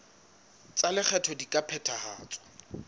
tsa lekgetho di ka phethahatswa